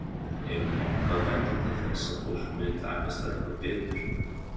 Heimir Már: Hvað bendir til þess að fólki muni takast það eitthvað betur nú?